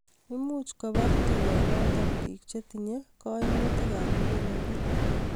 much kobar tugenoto biik che tinyei kaimutikab muguleldo